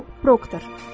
Bob Proctor.